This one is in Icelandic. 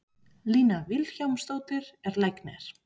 Lína Vilhjálmsdóttir er læknir.